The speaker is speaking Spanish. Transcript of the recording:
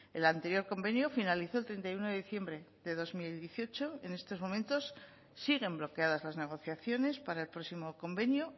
el anterior convenio finalizó el treinta y uno de diciembre de dos mil dieciocho en estos momentos siguen bloqueadas las negociaciones para el próximo convenio